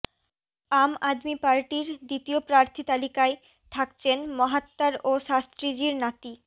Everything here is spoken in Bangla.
আম আদমি পার্টির দ্বিতীয় প্রার্থী তালিকায় থাকছেন মহাত্মার ও শাস্ত্রীজীর নাতি